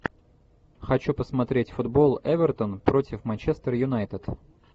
хочу посмотреть футбол эвертон против манчестер юнайтед